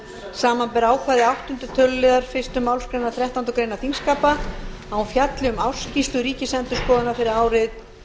samanber ákvæði áttunda töluliðar fyrstu málsgreinar þrettándu greinar þingskapa að hún fjalli um ársskýrslu ríkisendurskoðunar fyrir árið